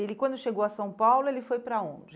E ele quando chegou a São Paulo, ele foi para onde?